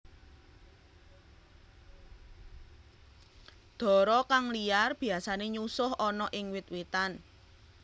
Dara kang liar biasane nyusuh ana ing wit witan